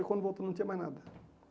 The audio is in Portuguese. E quando voltou não tinha mais nada.